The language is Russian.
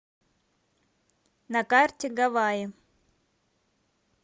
на карте гаваи